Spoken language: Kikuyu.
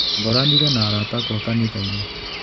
Ngoranire na arata akwa kanithainĩ.